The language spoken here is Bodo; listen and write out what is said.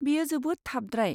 बेयो जोबोद थाबद्राय।